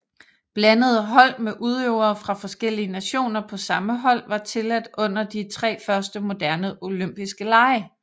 Blandede hold med udøvere fra forskellige nationer på samme hold var tilladt under de tre første moderne olympiske lege